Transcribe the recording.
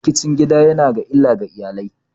Rikicin gida ya na da illa ga iyali.